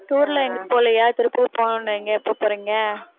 tour ல்லாம் எங்கேயும் போகலயா திருப்பூர் போகணும்னுன்னீங்க எப்ப போறீங்க